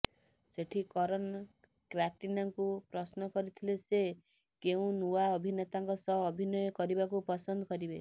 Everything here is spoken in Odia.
ସେଠି କରନ କ୍ୟାଟ୍ରିନାଙ୍କୁ ପ୍ରଶ୍ନ କରିଥିଲେ ସେ କେଉଁ ନୂଆ ଅଭିନେତାଙ୍କ ସହ ଅଭିନୟ କରିବାକୁ ପସନ୍ଦ କରିବେ